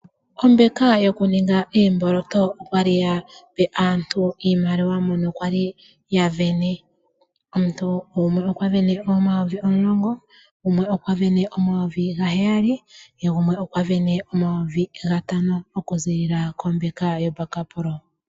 Ombeka yokuninga oomboloto okwa li yape aantu iimaliwa mono kwali yasindana. Omuntu gumwe okwa sindana N$10000, gumwe okwasindana N$7000 yegumwe okwasindana N$5000 okuza kombeka yaBakpro.